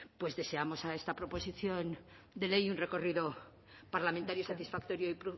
pues deseamos a esta proposición de ley un recorrido parlamentario satisfactorio y